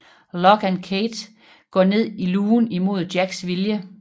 Locke og Kate går ned i lugen imod Jacks vilje